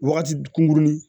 Wagati kunkurunin